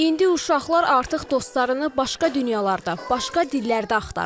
İndi uşaqlar artıq dostlarını başqa dünyalarda, başqa dillərdə axtarırlar.